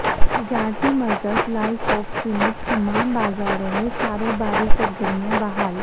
تجارتی مرکز لالچوک سمیت تمام بازاروں میں کاروباری سرگرمیاں بحال